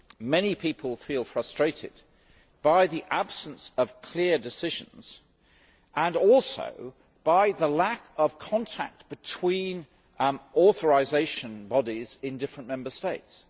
Many people feel frustrated by the absence of clear decisions and also by the lack of contact between authorisation bodies in different Member States.